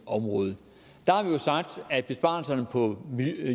område der har vi jo sagt at besparelserne på